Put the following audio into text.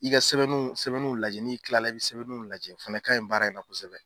I ka sɛbɛnniw sɛbɛnniw lajɛ n'i kilala i bɛ sɛbɛnniw lajɛ o fana ka ɲi baara in na kosɛbɛ.